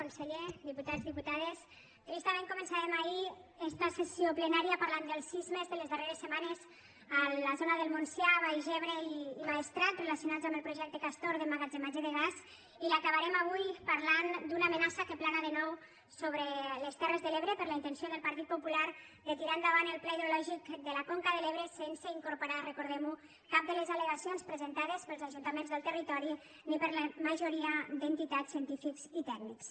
conseller diputats diputades tristament començàvem ahir esta sessió plenària parlant dels sismes de les darreres setmanes a la zona del montsià baix ebre i maestrat relacionats amb el projecte castor d’emmagatzematge de gas i l’acabarem avui parlant d’una amenaça que plana de nou sobre les terres de l’ebre per la intenció del partit popular de tirar endavant el pla hidrològic de la conca de l’ebre sense incorporar hi recordem ho cap de les allegacions presentades pels ajuntaments del territori ni per la majoria d’entitats científics i tècnics